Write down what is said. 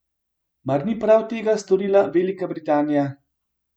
Mar ni prav tega storila Velika Britanija?